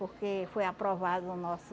Porque foi aprovado o nosso...